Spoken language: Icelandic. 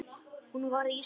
Hún varð ísköld.